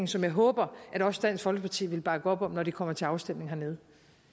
som jeg håber at også dansk folkeparti vil bakke op om når de kommer til afstemning hernede